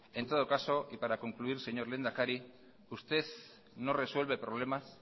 y para concluir señor lehendakari usted no resuelve problemas